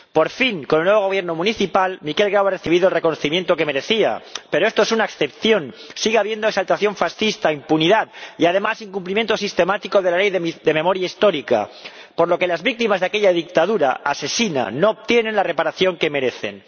Por fin, con el nuevo Gobierno municipal, Miquel Grau ha recibido el reconocimiento que merecía, pero esto es una excepción sigue habiendo exaltación fascista e impunidad y, además, incumplimiento sistemático de la Ley de Memoria Histórica, por lo que las víctimas de aquella dictadura asesina no obtienen la reparación que merecen.